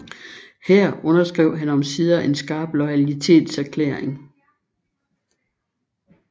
Her underskrev han omsider en skarp loyalitetserklæring